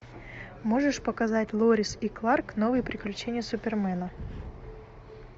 можешь показать лоис и кларк новые приключения супермена